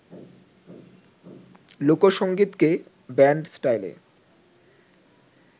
লোকসংগীতকে band স্টাইলে